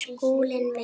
Skúli minn!